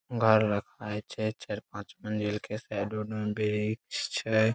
घर लग खाय छै चार-पांच मंजिल के साइड उड में वृक्ष छै।